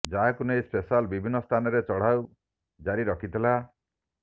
ଯାହାକୁ ନେଇ ସ୍ପେଶାଲ ବିଭିନ୍ନ ସ୍ଥାନରେ ଚଢାଉ ଜାରି ରଖିଥିଲା